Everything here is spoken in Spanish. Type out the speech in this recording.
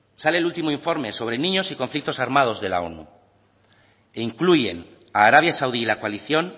sale el último informe sobre niños y conflictos armados de la onu que incluyen a arabia saudí y la coalición